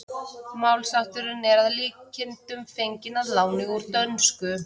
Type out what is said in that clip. Málshátturinn er að líkindum fenginn að láni úr dönsku.